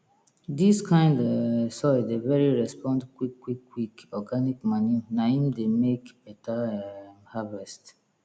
dis kind um soil dey very respond quick quick quick organic manure na im dey make beta um harvest